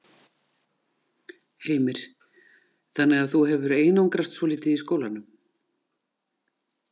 Heimir: Þannig að þú hefur einangrast svolítið í skólanum?